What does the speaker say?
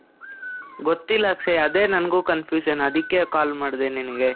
ಗೊತ್ತಿಲ್ಲ ಅಕ್ಷಯ್. ಅದೇ ನನಗೂ confusion. ಅದಕ್ಕೆ call ಮಾಡ್ದೇ ನಿನಿಗೆ.